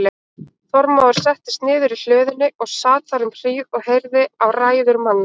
Þormóður settist niður í hlöðunni og sat þar um hríð og heyrði á ræður manna.